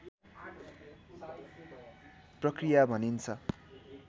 प्रक्रिया भनिन्छ